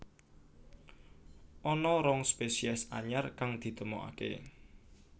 Ana rong spésiés anyar kang ditemokaké